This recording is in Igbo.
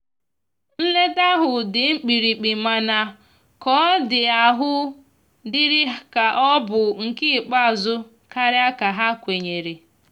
nleta ahu ndi mkpirikpimana ka ọ di ahụ diri ka ọ bụ nke ikpeazu karia ka ha kwenyere.